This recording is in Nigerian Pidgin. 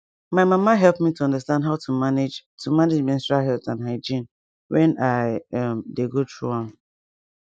my mama help me to understand how to manage to manage menstrual health and hygiene wen i um dey go through am